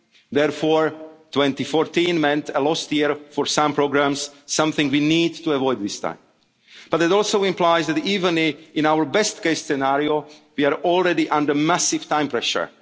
in December. Therefore, 2014 meant a lost year for some programmes, something we need to avoid this time. But that also implies that, even in our best case scenario, we are already under massive